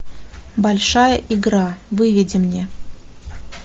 большая игра выведи мне